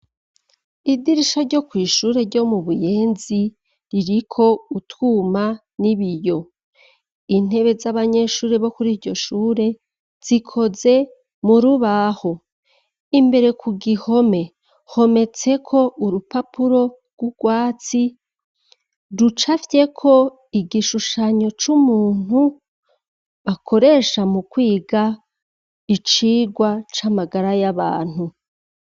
Idirisho ryo kw'ishure ryo mu buyenzi ririko utwuma n'ibiyo intebe z'abanyeshure bo kuri iryo shure zikoze mu rubaho imbere ku gihome hometseko urupapuro rw'urwatsi rucavyeko ko igishushanyo c'umuntu bakoresha mu kwiga icirwa c'amagara y'abantu.